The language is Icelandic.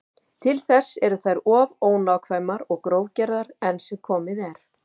Til þess eru þær of ónákvæmar og grófgerðar enn sem komið er.